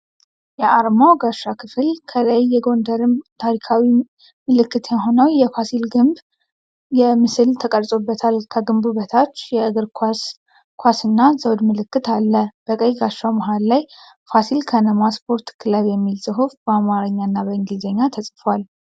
የአርማው ጋሻ ክፍል ከላይ የጎንደርን ታሪካዊ ምልክት የሆነው የፋሲል ግቢ ግንብ ምስል ተቀርጾበታል። ከግንቡ በታች የእግር ኳስ ኳስና ዘውድ ምልክት አለ። በቀይ ጋሻው መሃል ላይ "ፋሲል ከነማ ስፖርት ክለብ" የሚል ጽሑፍ በአማርኛ እና በእንግሊዝኛ ተጽፏል።